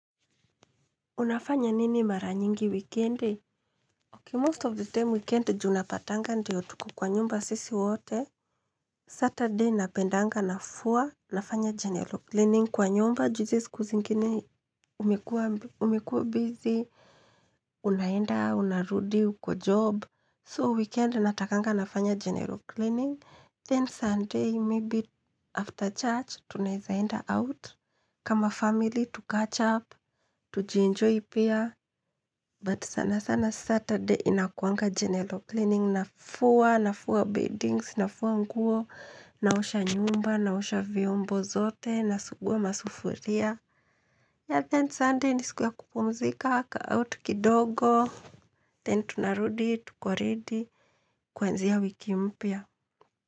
Unafanya nini mara nyingi wikendi? Ok most of the time weekend juu unapatanga ndio tuko kwa nyumba sisi wote Saturday napendanga nafua nafanya general cleaning kwa nyumba juu hizi siku zingine umekua busy Unaenda, unarudi, uko job So weekend natakanga nafanya general cleaning Then Sunday maybe after church tunaezaenda out kama family tucatch up, tujienjoy pia But sana sana Saturday inakuanga general cleaning Nafua, nafua beddings, nafua nguo naosha nyumba, naosha viombo zote Nasugua masufuria Yeah then Sunday ni siku ya kupumzika ka out kidogo Then tunarudi, tuko ready kuanzia wiki mpya.